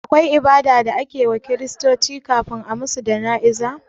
Akwai ibada da ake wa kiristoci kafin a musu jana'iza?